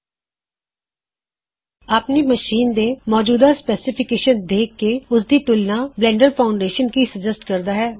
ਹੁਣ ਤੁਸੀ ਆਪਣੇ ਕੰਪਿਊਟਰ ਦੀ ਮੌਜੂਦਾ ਸਪੈਸੀਫਿਕੇਸ਼ਨ ਦੀ ਤੁਲਨਾ ਬਲੈਨਡਰ ਦੇ ਹਾਰਡਵੇਅਰ ਰਿਕੁਇਰਮੈਂਟ ਨਾਲ ਕਰੋ